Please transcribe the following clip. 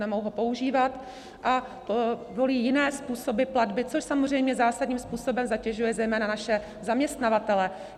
Nemohou ho používat a volí jiné způsoby platby, což samozřejmě zásadním způsobem zatěžuje zejména naše zaměstnavatele.